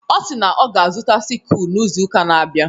Ọ si na ọ ga-azụta sikụl n'izu ụka na-abịa.